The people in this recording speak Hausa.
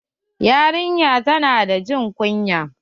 Yarinyar ta na da jin kunya.